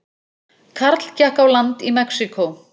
Karl gekk á land í Mexíkó